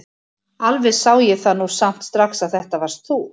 Alveg sá ég það nú samt strax að þetta varst þú!